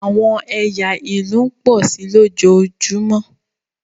àwọn ẹya ilu ń pọ si lojoojumọ.